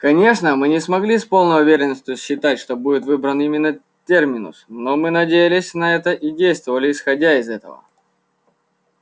конечно мы не могли с полной уверенностью считать что будет выбран именно терминус но мы надеялись на это и действовали исходя из этого